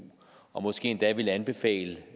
og måske endda ville anbefale